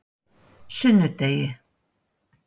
sunnudegi